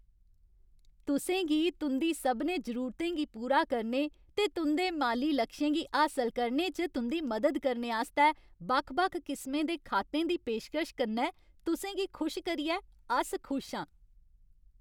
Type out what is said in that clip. तुसें गी तुं'दी सभनें जरूरतें गी पूरा करने ते तुं'दे माली लक्षें गी हासल करने च तुं'दी मदद करने आस्तै बक्ख बक्ख किसमें दे खातें दी पेशकश कन्नै तुसें गी खुश करियै अस खुश आं।